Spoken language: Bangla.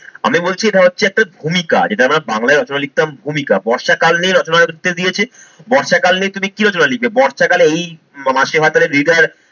আমি বলছি এটা হচ্ছে একটা ভূমিকা যেটা আমার বাংলায় রচনা লিখতাম ভূমিকা। বর্ষাকাল নিয়ে রচনা লিখতে দিয়েছে বর্ষাকাল নিয়ে তুমি কি রচনা লিখবে, বর্ষাকালে এই মাসে ভাতারে reader